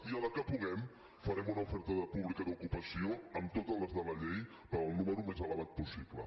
i a la que puguem farem una oferta pública d’ocupació amb totes les de la llei per al número més elevat possible